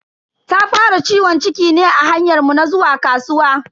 Ta fara ciwon ciki ne a hanyar mu na zuwa kasuwa.